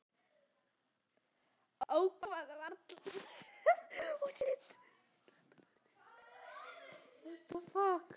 Ákæra varla fyrir páska